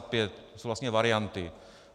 To jsou vlastně varianty.